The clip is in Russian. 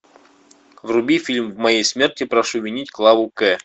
вруби фильм в моей смерти прошу винить клаву к